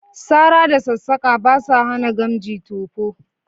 Sara da sassaƙa ba sa hana gamji tofo